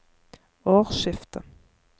årsskiftet